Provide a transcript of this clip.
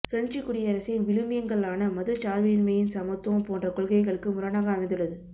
பிரஞ்சுக் குடியரசின் விழுமியங்களான மதச்சார்பின்மைஇ சமத்துவம் போன்ற கொள்கைகளுக்கு முரணாக அமைந்துள்ளது